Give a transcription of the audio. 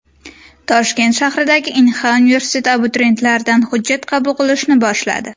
Toshkent shahridagi Inha universiteti abituriyentlardan hujjat qabul qilishni boshladi.